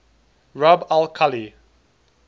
rub al khali